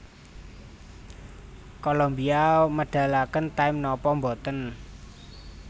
Kolombia medalaken time nopo mboten